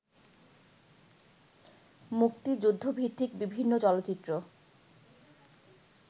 মুক্তিযুদ্ধভিত্তিক বিভিন্ন চলচ্চিত্র